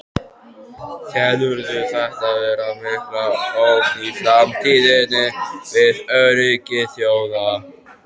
Telurðu þetta vera mikla ógn í framtíðinni við öryggi þjóða?